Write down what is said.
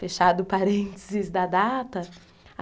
Fechado o parênteses da data.